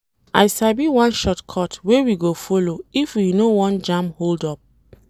I sabi one shortcut wey we go folo if we no wan jam hold-up.